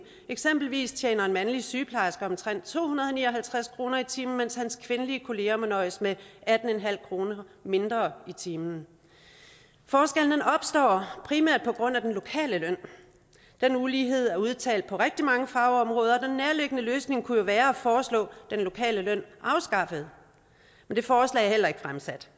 eksempelvis tjener en mandlig sygeplejerske omtrent to hundrede og ni og halvtreds kroner i timen mens hans kvindelige kolleger må nøjes med atten kroner mindre i timen forskellen opstår primært grund af den lokale løn den ulighed er udtalt på rigtig mange fagområder og løsning kunne jo være at foreslå den lokale løn afskaffet men det forslag er heller ikke fremsat